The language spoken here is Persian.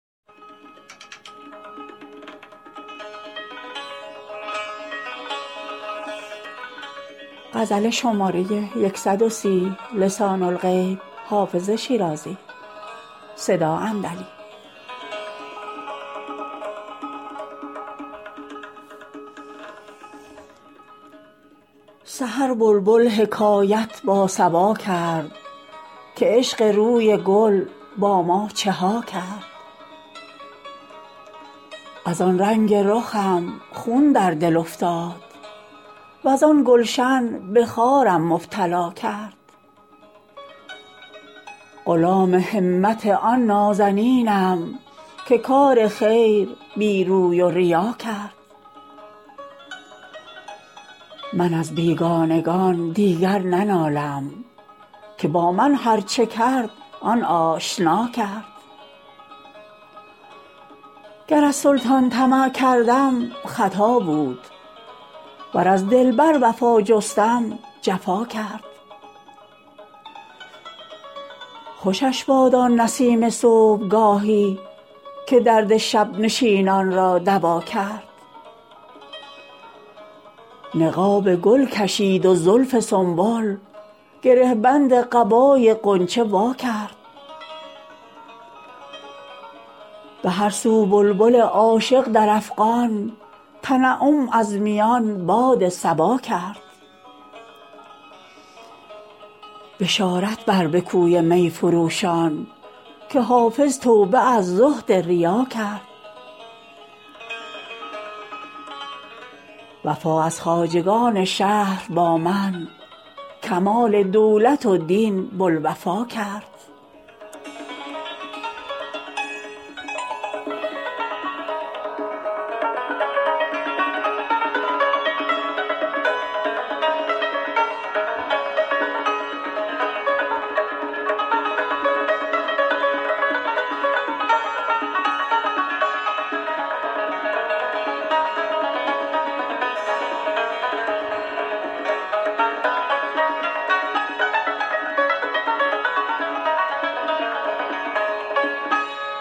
سحر بلبل حکایت با صبا کرد که عشق روی گل با ما چه ها کرد از آن رنگ رخم خون در دل افتاد وز آن گلشن به خارم مبتلا کرد غلام همت آن نازنینم که کار خیر بی روی و ریا کرد من از بیگانگان دیگر ننالم که با من هرچه کرد آن آشنا کرد گر از سلطان طمع کردم خطا بود ور از دلبر وفا جستم جفا کرد خوشش باد آن نسیم صبحگاهی که درد شب نشینان را دوا کرد نقاب گل کشید و زلف سنبل گره بند قبای غنچه وا کرد به هر سو بلبل عاشق در افغان تنعم از میان باد صبا کرد بشارت بر به کوی می فروشان که حافظ توبه از زهد ریا کرد وفا از خواجگان شهر با من کمال دولت و دین بوالوفا کرد